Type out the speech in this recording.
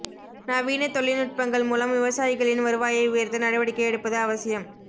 நவீன தொழில்நுட்பங்கள் மூலம் விவசாயிகளின் வருவாயை உயா்த்த நடவடிக்கை எடுப்பது அவசியம்